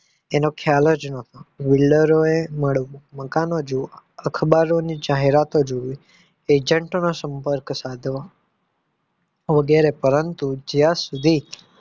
એનો ખ્યાલ જ ન હતો builder એ મળવું મકાનો જોવા અખબારોની જાહેરાતો જોવી agent ના સંપર્ક સાધવો વગેરે પરંતુ જ્યાં સુધી